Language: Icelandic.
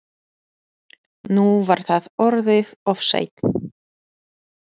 Nú var það orðið of seint.